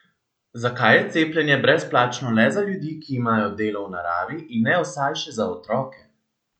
Zakaj je cepljenje brezplačno le za ljudi, ki imajo delo v naravi in ne vsaj še za otroke?